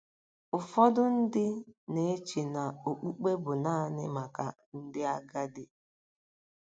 Ụfọdụ ndị na-eche na okpukpe bụ naanị maka ndị agadi.